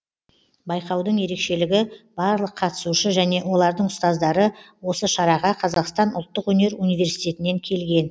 байқаудың ерекшілігі барлық қатысушы және олардың ұстаздары осы шараға қазақстан ұлттық өнер университетінен келген